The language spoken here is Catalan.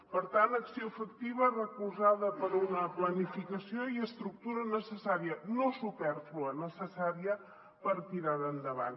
per tant acció efectiva recolzada per una planificació i estructura necessària no supèrflua necessària per tirar endavant